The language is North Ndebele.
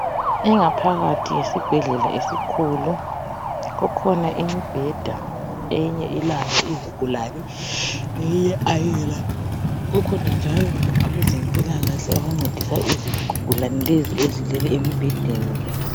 Ingaphakathi yesibhedlela esikhulu , kukhona imibheda eyinye ilazo izigulane eyinye ayila, kukhona njalo abezempilakahle abancedisa izigulane lezi ezilele emibhedeni le.